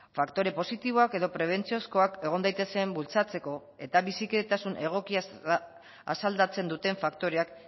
faktore positiboak edo prebentziozkoak egon daitezen bultzatzeko eta bizikidetasun egokia asaldatzen duten faktoreak